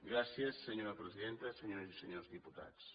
gràcies senyora presidenta senyores i senyors diputats